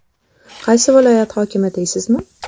Qaysi viloyat hokimi deysizmi?